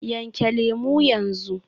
Yanke lemu yanzu.